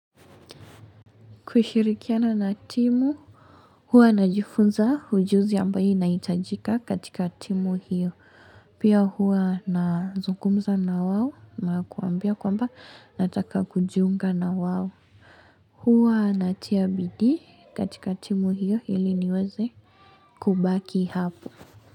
Kushirikiana na timu, huwa najifunza ujuzi ambayo inaitajika katika timu hiyo. Pia huwa nazungumza na wao na kuambia kwamba nataka kujiunga na wao. Huwa natia bidii katika timu hiyo ili niweze kubaki hapo.